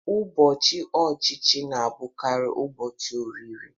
Ụbọchị ọchịchị na-abụkarị ụbọchị oriri